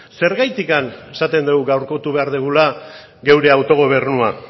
zergatik esaten dugu gaurkotu behar dugula gure autogobernua